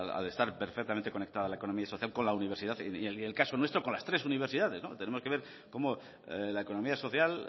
al estar perfectamente conectada la economía social con la universidad y en el caso nuestro con las tres universidades tenemos que ver cómo la economía social